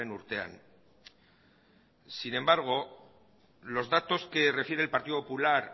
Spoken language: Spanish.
urtean sin embargo los datos que recibe el partido popular